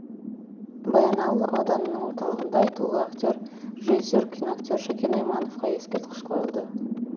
баянауыл ауданының орталығында айтулы актер режиссер киноактер шәкен аймановқа ескерткіш қойылды